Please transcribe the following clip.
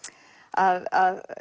að